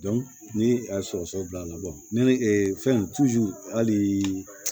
ni a ye sɔgɔsɔgɔ bila a la fɛn hali